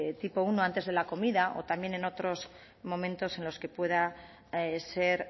tipo primero antes de la comida o también en otros momentos en los que pueda ser